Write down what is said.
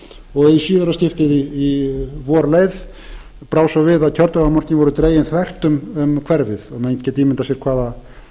og í síðara skiptið í vor leið brá svo við að kjördæmamörkin voru dregin þvert um hverfið og menn geta ímyndað sér